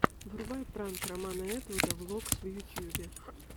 врубай пранк романа этвуда влогс в ютубе